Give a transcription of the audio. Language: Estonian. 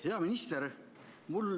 Hea minister!